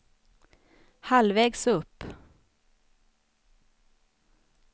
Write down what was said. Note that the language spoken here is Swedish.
halvvägs upp